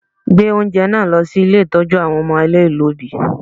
Gbé oúnjẹ náà lọ sí ilé ìtọ́jú àwọn ọmọ aláìlọ́bìí!